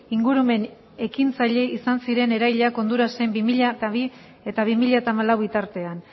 ingurumen ekintzaile izan ziren erailak hondurasen bi mila bi eta bi mila hamalau bitartean